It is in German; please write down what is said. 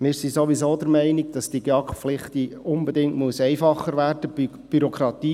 Wir sind sowieso der Meinung, dass die GEAK-Pflicht unbedingt einfacher werden muss.